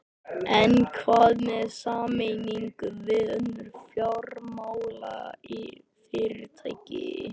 En hvað með sameiningu við önnur fjármálafyrirtæki?